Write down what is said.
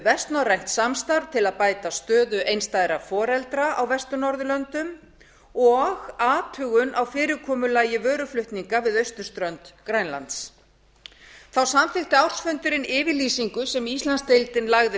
vestnorrænt samstarf til að bæta stöðu einstæðra foreldra á vestur norðurlöndum og athugun á fyrirkomulagi vöruflutninga við austurströnd grænlands þá samþykkti ársfundurinn yfirlýsingu sem íslandsdeildin lagði